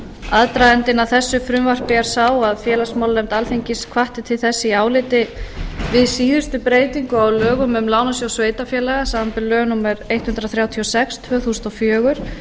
aðdragandinn að þessu frumvarpi er sá að félagsmálanefnd alþingis hvatti til þess í áliti við síðustu breytingu á lögum um lánasjóð sveitarfélaga samanber lög númer hundrað þrjátíu og sex tvö þúsund og fjögur